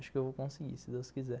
Acho que vou conseguir, se Deus quiser.